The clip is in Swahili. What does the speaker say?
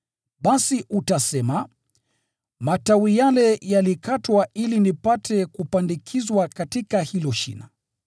Basi utasema, “Matawi yale yalikatwa ili nipate kupandikizwa katika hilo shina.”